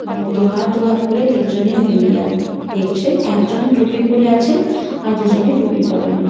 উম দু হাত দু হাত করে তিন জনই মিলিয়ে দেখছেন একজন টুপি পরে আছেন আর দু জনে টুপি পারেননি ।